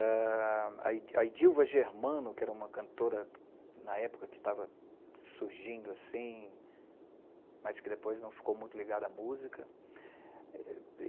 Ah a a Edilva Germano, que era uma cantora, na época, que estava surgindo assim, mas que depois não ficou muito ligada à música.